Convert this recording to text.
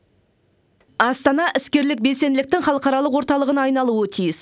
астана іскерлік белсенділіктің халықаралық орталығына айналуы тиіс